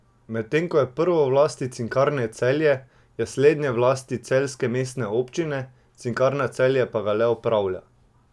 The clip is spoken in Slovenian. Medtem ko je prvo v lasti Cinkarne Celje, je slednje v lasti celjske mestne občine, Cinkarna Celje pa ga le upravlja.